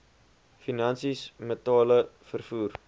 finansies metale vervoer